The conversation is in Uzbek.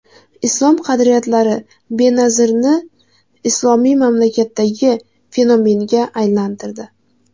Islom qadriyatlari Benazirni islomiy mamlakatdagi fenomenga aylantirdi.